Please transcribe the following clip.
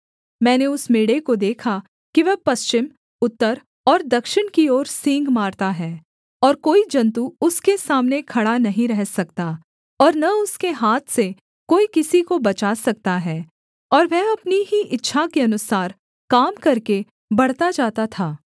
मैंने उस मेढ़े को देखा कि वह पश्चिम उत्तर और दक्षिण की ओर सींग मारता है और कोई जन्तु उसके सामने खड़ा नहीं रह सकता और न उसके हाथ से कोई किसी को बचा सकता है और वह अपनी ही इच्छा के अनुसार काम करके बढ़ता जाता था